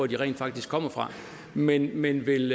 de rent faktisk kommer fra men men vil